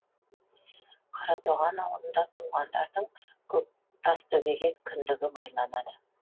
қаратоған аулында туғандардың тастөбеге кіндігі байланады